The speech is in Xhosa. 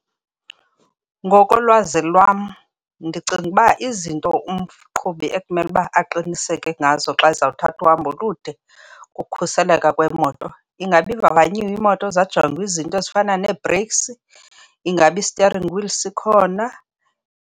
Ngokolwazi lwam ndicinga uba izinto umqhubi ekumele uba aqiniseke ngazo xa ezawuthatha uhambo olude kukukhuseleka kwemoto. Ingaba ivavanyiwe imoto zajongwa izinto ezifana nee-brakes? Ingaba i-steering wheel sikhona?